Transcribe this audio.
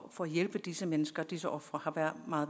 at hjælpe disse mennesker disse ofre har været meget